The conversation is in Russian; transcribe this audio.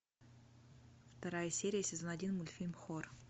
вторая серия сезон один мультфильм хор